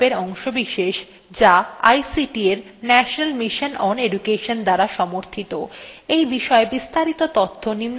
spoken tutorials talk to a teacher প্রকল্পের অংশবিশেষ যা ict এর national mission on education দ্বারা সাহায্যপ্রাপ্ত